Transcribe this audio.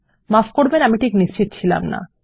মাফ করবেন আমি ঠিক নিশ্চিত ছিলাম না